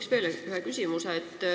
Ma küsin veel ühe küsimuse.